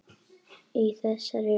Í þessari röð.